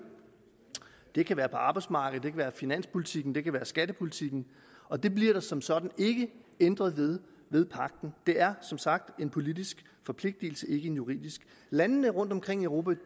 det kan være på arbejdsmarkedet være finanspolitikken det kan være skattepolitikken og det bliver der som sådan ikke ændret ved ved pagten det er som sagt en politisk forpligtelse ikke en juridisk landene rundtomkring i europa